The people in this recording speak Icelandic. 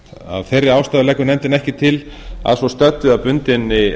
að svo stöddu leggur nefndin ekki til að svo stöddu að bundinni